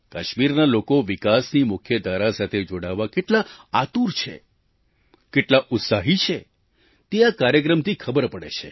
કાશ્મીરના લોકો વિકાસની મુખ્યધારા સાથે જોડાવા કેટલા આતુર છે કેટલા ઉત્સાહી છે તે આ કાર્યક્રમથી ખબર પડે છે